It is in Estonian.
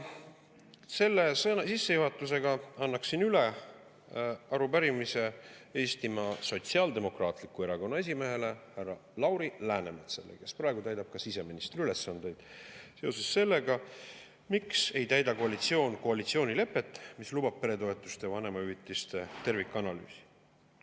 Selle sissejuhatusega annan üle arupärimise Eestimaa Sotsiaaldemokraatliku Erakonna esimehele härra Lauri Läänemetsale, kes praegu täidab ka siseministri ülesandeid, selle kohta, miks ei täida koalitsioon koalitsioonilepet, mis lubab peretoetuste ja vanemahüvitise tervikanalüüsi.